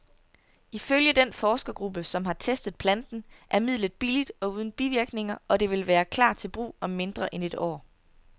Ifølge den forskergruppe, som har testet planten, er midlet billigt og uden bivirkninger, og det vil klar til brug om mindre end et år.